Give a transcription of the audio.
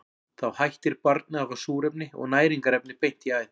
Þá hættir barnið að fá súrefni og næringarefni beint í æð.